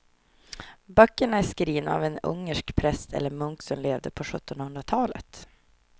Böckerna är skrivna av en ungersk präst eller munk som levde på sjuttonhundratalet.